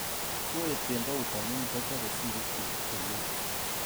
Koet kembout amu kwachopei sirikchuk komyei